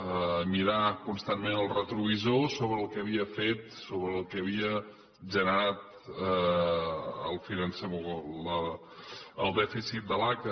a mirar constantment el retrovisor sobre el que havia fet sobre el que havia generat el dèficit de l’aca